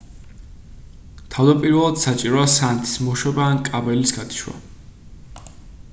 თავდაპირველად საჭიროა სანათის მოშვება ან კაბელის გათიშვა